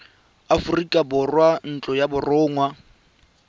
aforika borwa ntlo ya borongwa